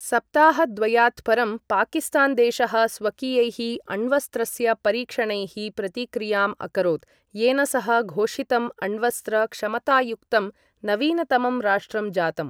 सप्ताहद्वयात् परं, पाकिस्तान देशः स्वकीयैः अण्वस्त्रस्य परीक्षणैः प्रतिक्रियाम् अकरोत्, येन सः घोषितम् अण्वस्त्र क्षमतायुक्तं नवीनतमं राष्ट्रं जातम्।